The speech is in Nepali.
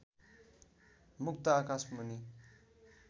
मुक्त आकाशमुनि